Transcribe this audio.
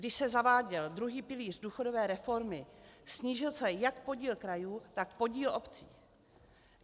Když se zaváděl druhý pilíř důchodové reformy, snížil se jak podíl krajů, tak podíl obcí.